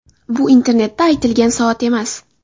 Bu internetda aytilgan soat emas.